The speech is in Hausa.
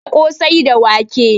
Ana ƙosai da wake